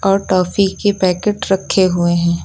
और टॉफी के पैकेट रखे हुए हैं।